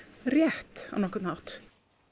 rétt á nokkurn hátt